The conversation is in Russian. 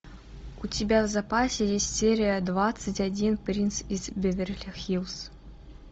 у тебя в запасе есть серия двадцать один принц из беверли хиллз